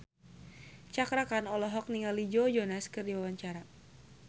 Cakra Khan olohok ningali Joe Jonas keur diwawancara